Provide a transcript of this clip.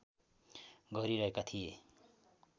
गरिहेका थिए